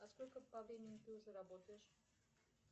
а сколько по времени ты уже работаешь